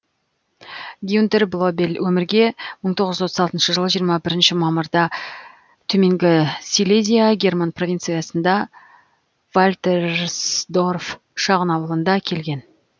гюнтер блобель өмірге мың тоғыз жүз отыз алтыншы жылы жиырма бірінші мамырда төменгі силезия герман провинциясындағы вальтерсдорф шағын ауылында келген